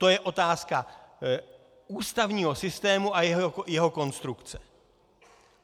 To je otázka ústavního systému a jeho konstrukce.